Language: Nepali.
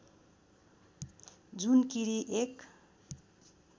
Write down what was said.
जुनकीरी एक